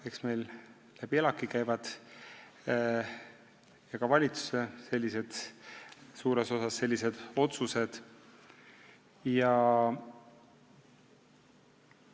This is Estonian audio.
Eks meil käivad sellised otsused läbi ELAK-i ja suures osas ka valitsuse kaudu.